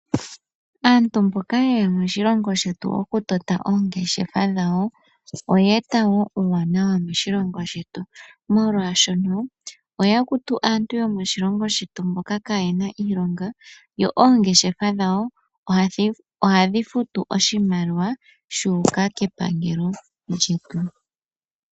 Aantu mboka ye ya moshilongo shetu okutota oongeshefa dhawo, oya e ta wo uuwanawa moshilongo shetu molwaashono oya kutu aantu yomoshilongo shetu mboka kaayena iilonga, dho oongeshefa dhawo ohadhi futu oshimaliwa sha uka kepangelo lyetu.